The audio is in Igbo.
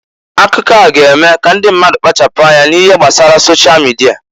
Akụkọ a g'eme k'ndi mmadụ kpachapụ anya n'ihe gbasara sosha mịdịa.